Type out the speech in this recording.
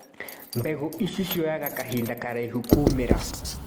Mbegũ ici cioyaga kahinda karaihu kumĩra.